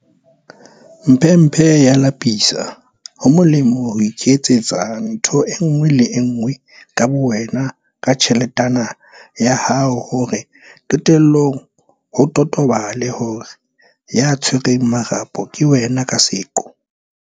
Mphemphe e a lapisa, ho molemo ho iketsetsa ntho e nngwe le e nngwe ka bowena ka tjheletana ya hao hore qetellong ho totobale hore ya tshwereng marapo ke wena ka seqo.